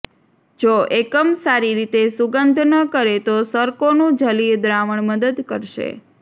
જો એકમ સારી રીતે સુગંધ ન કરે તો સરકોનું જલીય દ્રાવણ મદદ કરશે